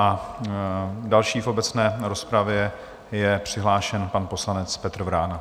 Jako další v obecné rozpravě je přihlášen pan poslanec Petr Vrána.